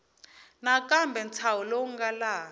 nakambe ntshaho lowu nga laha